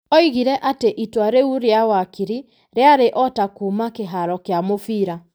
Oigire atĩ itua rĩu rĩa wakiri rĩarĩ o ta kuuma kĩharo kĩa mũbira.